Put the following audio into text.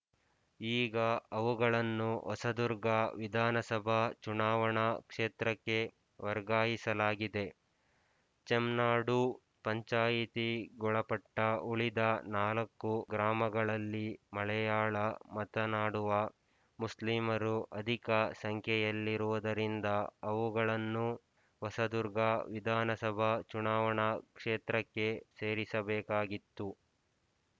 ಈಗ ಅವುಗಳನ್ನು ಹೊಸದುರ್ಗ ವಿಧಾನಸಭಾ ಚುನಾವಣಾ ಕ್ಷೇತ್ರಕ್ಕೆ ವರ್ಗಾಯಿಸಲಾಗಿದೆ ಚೆಮ್ನಾಡು ಪಂಚಾಯಿತಿಗೊಳಪಟ್ಟ ಉಳಿದ ನಾಲ್ಕುಗ್ರಾಮಗಳಲ್ಲಿ ಮಲೆಯಾಳ ಮಾತನಾಡುವ ಮುಸ್ಲಿಮರು ಅಧಿಕ ಸಂಖ್ಯೆಯಲ್ಲಿರುವುದರಿಂದ ಅವುಗಳನ್ನೂ ಹೊಸದುರ್ಗ ವಿಧಾನಸಭಾ ಚುನಾವಣಾ ಕ್ಷೇತ್ರಕ್ಕೆ ಸೇರಿಸಬೇಕಾಗಿತ್ತು